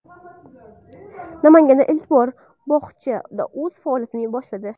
Namanganda ilk mobil bog‘cha o‘z faoliyatini boshladi.